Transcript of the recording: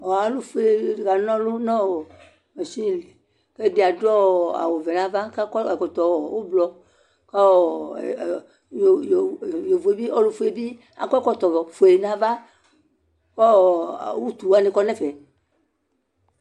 Alʋ fʋe kana ɔlʋ nʋ mashinili ɛdi adʋ awʋvɛ nʋ ava kʋ akɔ ɛkɔtɔ ʋblɔ kʋ ɔlʋfue yɛbi akɔ ɛkɔtɔfue nʋ ava kɔ utu wani kɔ nʋ ɛfɛ